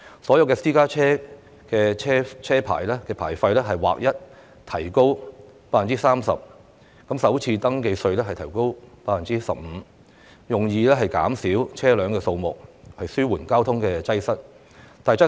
所有私家車牌費劃一提高 30%， 首次登記稅提高 15%， 以減少車輛數目，紓緩交通擠塞。